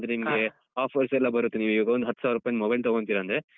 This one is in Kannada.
ಏನಂದ್ರೆ ನಿಮ್ಗೆ offers ಲ್ಲ ಬರುತ್ತೆ ನೀವೀಗ ಒಂದ್ ಹತ್ತ್ ಸಾವ್ರುಪಾಯಿದ್ದು mobile ತಗೋತೀರಾ ಅಂದ್ರೆ.